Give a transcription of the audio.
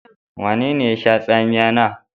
Wanene ye sha tsamiya na?